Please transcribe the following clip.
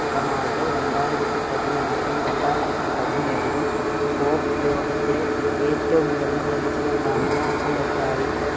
Ronaldo രണ്ടായിരത്തി പതിനാറിലും രണ്ടായിരത്തി പതിനേഴിലും sports ലോകത്തെ ഏറ്റവും കൂടുതൽ പ്രതിഫലം വാങ്ങുന്ന athlete ആയും